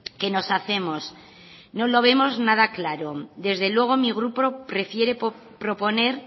que nos hacemos no lo vemos nada claro desde luego mi grupo prefiere proponer